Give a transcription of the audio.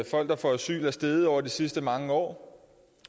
folk der får asyl er steget over de sidste mange år